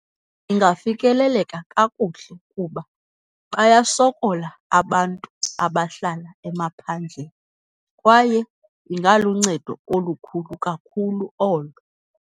Ingafikeleleka kakuhle kuba bayasokola abantu abahlala emaphandleni, kwaye ingaluncedo olukhulu kakhulu olo.